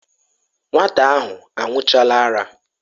Nwata ahụ aṅụchaala ara.